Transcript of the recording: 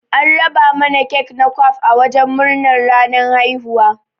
An raba mana kek na kwaf a wajen murnar ranan haihuwa.